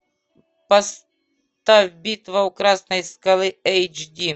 поставь битва у красной скалы эйч ди